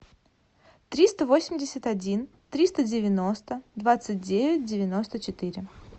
триста восемьдесят один триста девяносто двадцать девять девяносто четыре